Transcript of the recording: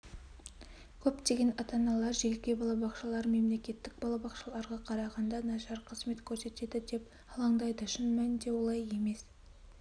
көптеген ата-аналар жеке балабақшалар мемлекеттік балабақшаларға қарағанда нашар қызмет көрсетеді деп алаңдайды шын мәнінде олай емес